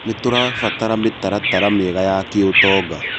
Nĩtũrabatara mĩtaratara mĩega ya kĩũtonga